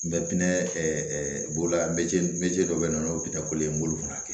N bɛ pinɛ bolola bɛ dɔ bɛ yen nɔ o n b'olu fana kɛ